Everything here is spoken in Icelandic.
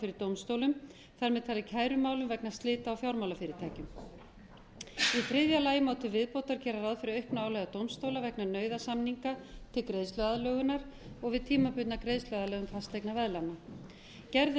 fyrir dómstólum þar með talið kærumálum vegna slita á fjármálafyrirtækjum í þriðja lagi má til viðbótar gera ráð fyrir auknu álagi á dómstóla vegna nauðasamninga til greiðsluaðlögunar og við tímabundna greiðsluaðlögun fasteignaveðlána gerð er